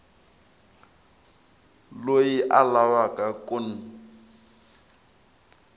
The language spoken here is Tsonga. loyi a lavaka ku n